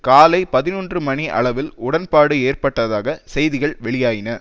காலை பதினொன்று மணி அளவில் உடன்பாடு ஏற்பட்டதாக செய்திகள் வெளியாயின